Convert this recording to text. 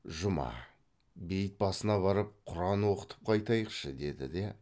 жұма бейіт басына барып құран оқытып қайтайықшы деді де